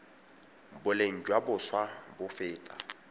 boleng jwa boswa bo feta